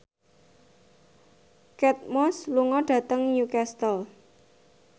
Kate Moss lunga dhateng Newcastle